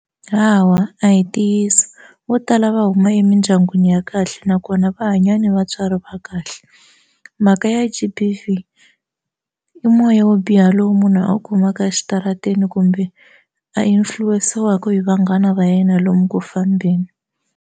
Hawa a hi ntiyiso vo tala va huma emindyangwini ya kahle nakona va hanya ni vatswari va kahle mhaka ya G_B_V i moya wo biha lowu munhu a wu kumaka exitarateni kumbe a influence-iwaka hi vanghana va yena lomu ku fambeni.